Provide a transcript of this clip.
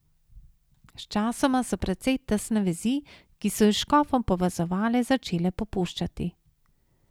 Sčasoma so precej tesne vezi, ki so ju s škofom povezovale, začele popuščati.